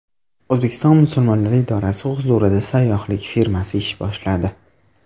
O‘zbekiston musulmonlari idorasi huzurida sayyohlik firmasi ish boshladi.